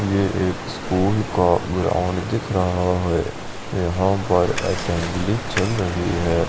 ये एक स्कूल का ग्राउंड दिख रहा है यहाँ पर असेंबली चल रही है।